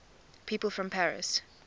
people from paris